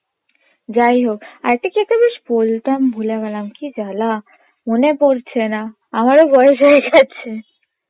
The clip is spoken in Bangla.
যাইহোক, আরেকটা কি একটা বেশ বলতাম ভুলে গেলাম কি জ্বালা মনে পড়ছে না আমারও বয়েস হয়ে গেছে